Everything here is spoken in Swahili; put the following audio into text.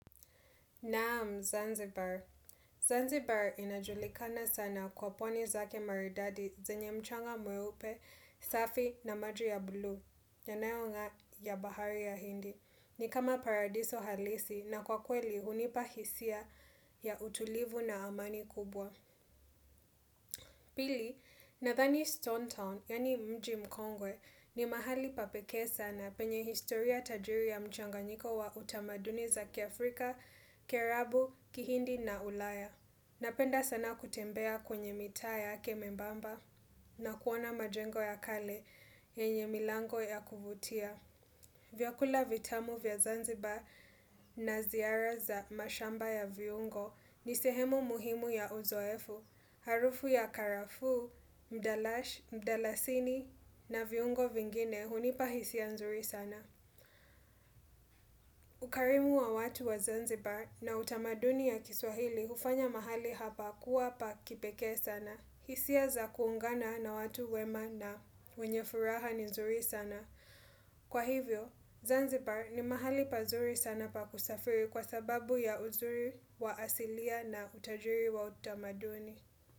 Naam, Zanzibar. Zanzibar inajulikana sana kwa pwani zake maridadi zenye mchanga mweupe, safi na maji ya buluu, yanayongaa ya bahari ya hindi. Ni kama paradiso halisi na kwa kweli hunipa hisia ya utulivu na amani kubwa. Pili, nadhani Stone Town, yaani mji mkongwe, ni mahali pa pekee sana penye historia tajiri ya mchanganyiko wa utamaduni za kiafrika, kierabu, kihindi na ulaya. Napenda sana kutembea kwenye mitaa yake membamba na kuona majengo ya kale yenye milango ya kuvutia. Vyakula vitamu vya Zanzibar na ziara za mashamba ya viungo ni sehemu muhimu ya uzoefu, harufu ya karafu, mdalash, mdalasini na viungo vingine hunipa hisia nzuri sana. Ukarimu wa watu wa Zanzibar na utamaduni ya kiswahili hufanya mahali hapa kuwa pa kipekee sana. Hisia za kuungana na watu wema na wenye furaha ni nzuri sana. Kwa hivyo, Zanzibar ni mahali pazuri sana pa kusafiri kwa sababu ya uzuri wa asilia na utajiri wa utamaduni.